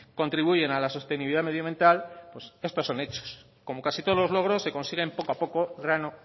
contribuyen a la sostenibilidad medioambiental pues esto son hechos como casi todos los logros se consiguen poco a poco grano